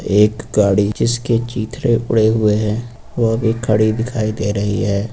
एक गाड़ी जिसके चीथड़े उड़े हुए हैं वह भी खड़ी दिखाई दे रही है।